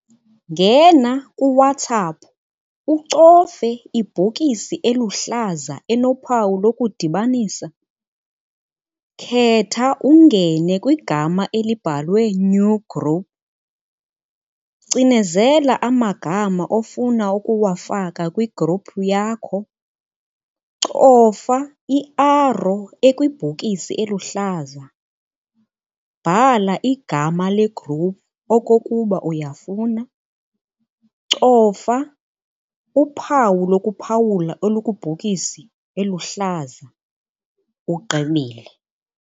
Ngena kuWhatsApp ucofe ibhokisi eluhlaza enophawu lokudibanisa. Khetha ungene kwigama elibhalwe new group. Cinezela amagama ofuna ukuwafaka kwi-group yakho. Cofa i-arrow ekwibhokisi eluhlaza. Bhala igama le-group okokuba uyafuna. Cofa uphawu lokuphawula elukubhokisi eluhlaza. Ugqibile.